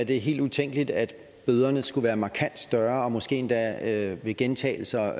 det helt utænkeligt at bøderne skulle være markant større og måske endda ved gentagelser